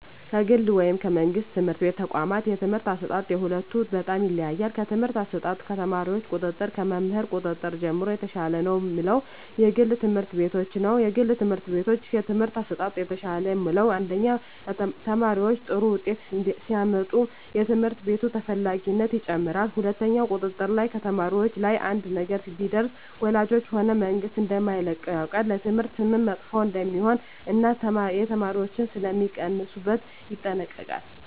ከግል ወይም ከመንግሥት የትምህርት ተቋዋማት የትምህርት አሰጣጥ የሁለቱ በጣም ይለያያል ከትምህርት አሰጣጥ ከተማሪዎች ቁጥጥር ከመምህር ቁጥጥር ጀምሮ የተሻለ ነው ምለው የግል ትምህርት ቤቶችን ነዉ የግል ትምህርት ቤቶች የትምህርት አሠጣጣቸው የተሻለ ምለው አንደኛ ተማሪዎች ጥሩ ውጤት ሲያመጡ የትምህርት ቤቱ ተፈላጊነት ይጨምራል ሁለትኛው ቁጥጥር ላይ ከተማሪዎች ላይ አንድ ነገር ቢደርስ ወላጆች ሆነ መንግስት እደማይለቀው ያውቃል ለትምህርት ስምም መጥፎ እደሜሆን እና የተማሪዎች ሥለሚቀንሡበት ይጠነቀቃሉ